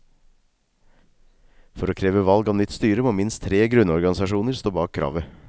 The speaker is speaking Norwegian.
For å kreve valg av nytt styre må minst tre grunnorganisasjoner stå bak kravet.